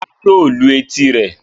Rárá yóò lu etí rẹ̀.